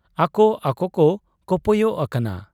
ᱟᱠᱚ ᱟᱠᱚᱠᱚ ᱠᱚᱯᱚᱭᱚᱜ ᱟᱠᱟᱱᱟ ᱾